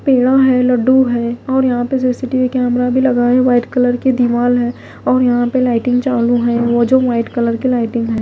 पेड़ा है लड्डू है और यहां पे सी_सी_टी_वी कैमरा भी लगा है व्हाइट कलर की दीवाल है और यहां पे लाइटिंग चालू है और वो जो वाइट कलर के लाइटिंग है।